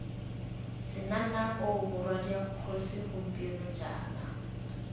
senanapo morwadia kgosi gompieno jaana